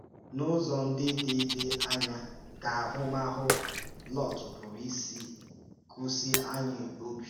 N’ụzọ ndị dị dị anya ka ahụmahụ Lọt pụrụ isi kọ́sị anyị obi?